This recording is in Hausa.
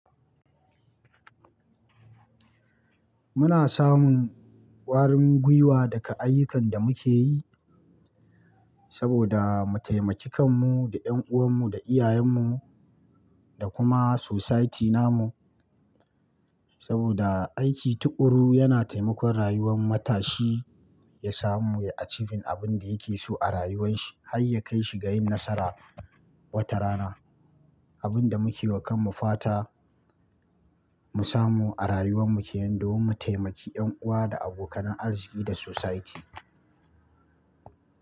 Muna samun ƙwarin gwiwa daga ayyukan da muke yi saboda mu taimaki kanmu da ƴan'uwanmu da iyayenmu da kuma society namu. Saboda aiki tu'uƙuru yana taimakon rayuwar matashi ya samu ya a cikin abin da yake so a rayuwan shi har ya kai shi ga yin nasara wata rana. Abin da muke wa kanmu fata mu samu a rayuwan mu ke yin domin mu taimaki ƴan'uwa da abokanan arziki da society.